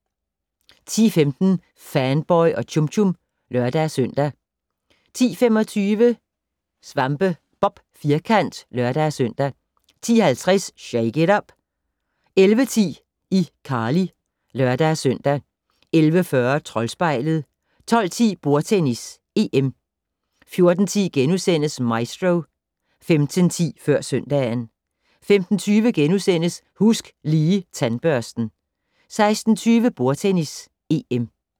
10:15: Fanboy og Chum Chum (lør-søn) 10:25: SvampeBob Firkant (lør-søn) 10:50: Shake it up! 11:10: iCarly (lør-søn) 11:40: Troldspejlet 12:10: Bordtennis: EM 14:10: Maestro * 15:10: Før søndagen 15:20: Husk Lige Tandbørsten * 16:20: Bordtennis: EM